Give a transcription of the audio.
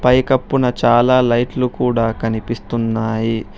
పై కప్పున చాలా లైట్లు కూడా కనిపిస్తున్నాయి.